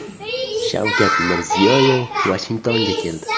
Shavkat Mirziyoyev Vashingtonga keldi.